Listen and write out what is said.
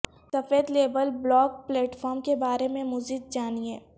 سفید label blog platform کے بارے میں مزید جانیں